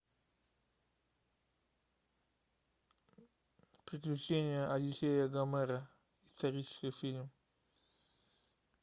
приключения одиссея гомера исторический фильм